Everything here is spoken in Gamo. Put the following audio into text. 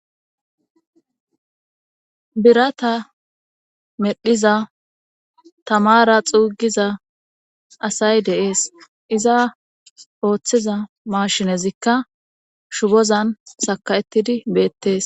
Birata medhiza tamara xuugiza asay deees iza ooththiza maashinezikka shubozan saka7etidi beettees